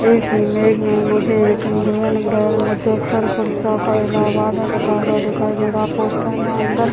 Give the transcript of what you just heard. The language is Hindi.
इस इमेज में मुझे एक इंडियन बैंक मुजफ्फरपुर शाखा इलाहबाद में लिखा हुआ दिखाई दे रहा है पोस्टर में अंदर --